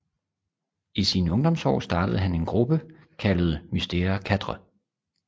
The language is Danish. I sine ungdomsår startede han en gruppe kaldet Mystère IV